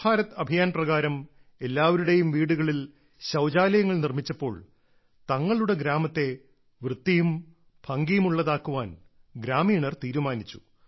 സ്വച്ഛ് ഭാരത് അഭിയാൻ പ്രകാരം എല്ലാവരുടെയും വീടുകളിൽ ശൌചാലയങ്ങൾ നിർമ്മിച്ചപ്പോൾ തങ്ങളുടെ ഗ്രാമത്തെ വൃത്തിയും ഭംഗിയുമുള്ളതാക്കാൻ ഗ്രാമീണർ തീരുമാനിച്ചു